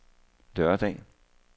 lørdag